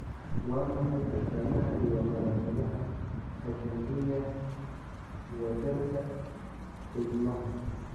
Waa maxay astamaha iyo calaamadaha Aganglionosis, wadarta xiidmaha?